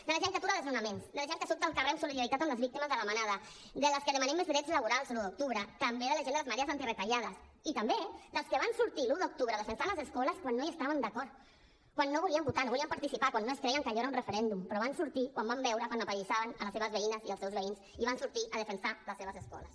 de la gent que atura desnonaments de la gent que surt al carrer en solidaritat amb les víctimes de la manada de les que demanem més drets laborals o l’un d’octubre també de la gent de les marees antiretallades i també dels que van sortir l’un d’octubre a defensar les escoles quan no hi estaven d’acord quan no volien votar no volien participar quan no es creien que allò era un referèndum però van sortir quan van veure que apallissaven les seves veïnes i els seus veïns i van sortir a defensar les seves escoles